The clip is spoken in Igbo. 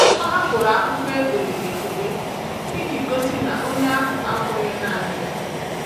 Ọ hapụrụ akwụkwọ e dere ekele iji gosi na onye ahụ akwughị naanị ya.